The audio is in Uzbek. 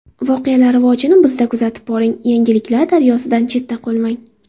Voqealar rivojini bizda kuzatib boring, yangiliklar daryosidan chetda qolmang!